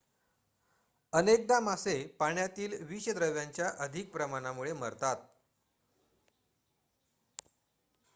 अनेकदा मासे पाण्यातील विषद्रव्यांच्या अधिक प्रमाणामुळे मरतात